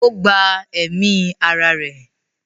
ó gba ẹ̀mí ara rẹ̀.